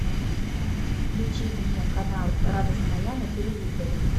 включи мне канал радость моя на телевизоре